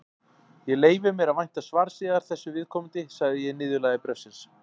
Ég leyfi mér að vænta svars yðar þessu viðkomandi, sagði ég í niðurlagi bréfsins.